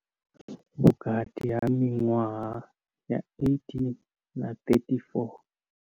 Vhukati ha miṅwaha ya 18 na 34.